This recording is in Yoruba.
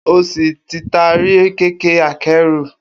O si Titari kẹkẹ-akẹru.